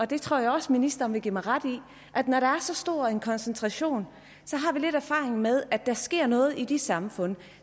det tror jeg også ministeren vil give mig ret i at når der er så stor en koncentration har vi lidt erfaring med at der sker noget i de samfund